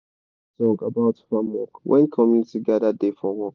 farmers da share song about farm work when commuinty gada da for work